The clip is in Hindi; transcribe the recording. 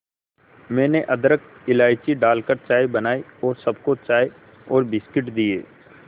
मैंने अदरक इलायची डालकर चाय बनाई और सबको चाय और बिस्कुट दिए